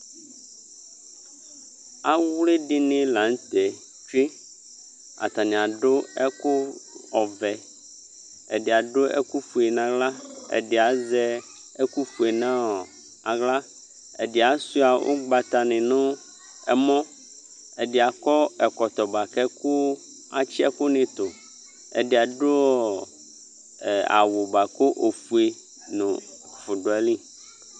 Awli dini la nʋ tɛ tsue Atani adʋ ɛkʋ ɔvɛ Ɛdi adʋ ɛkʋ fue n'aɣla, ɛdi azɛ ɛk fue n'aɣla, ɛdi asua ʋgbata ni nʋ ɛmɔ, ɛdi akɔ ɛkɔtɔ boa kʋ, atsi ɛkʋ ni tʋ Ɛdi adʋ ɔ, awʋ boa kʋ ofue nʋ ɛkʋfʋ dʋ ayili